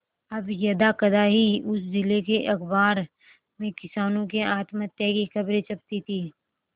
अब यदाकदा ही उस जिले के अखबार में किसानों के आत्महत्या की खबरें छपती थी